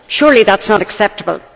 Surely that is not acceptable.